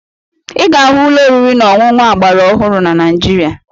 Ị ga-ahụ ụlọ oriri na ọṅụṅụ agbaraọhụrụ na Naịjirịa